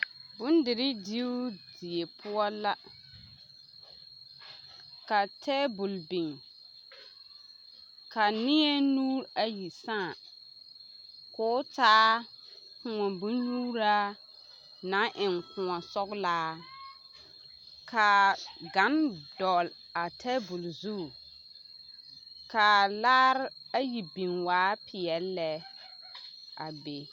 Bondirii diibu die poɔ la, ka teebol biŋ ka neɛ nuuri ayi sãã k'o taa kõɔ bonnyuuraa naŋ eŋ kõɔ sɔgelaa k'a gane dɔgele a teebol zu k'a laare ayi biŋ waa peɛle lɛ a be.